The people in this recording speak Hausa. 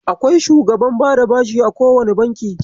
Akwai shugaban bada bashi a kowane Banki.